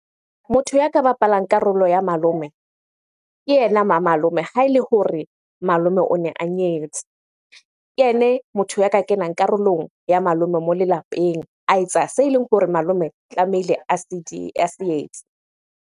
Motho ya ka bapalang karolo ya malome, ke yena ma malome ha ele hore malome o ne a nyetse. Ke yene motho ya ka kenang karolong ya malome moo le lapeng. A etsa se eleng hore malome tlamehile a se etse.